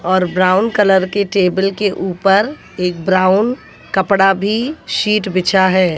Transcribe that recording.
और brown colour की table के ऊपर एक ब्राउन कपड़ा भी सीट बिछा है।